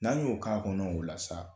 N'an y'o k'a kɔnɔ, o la sa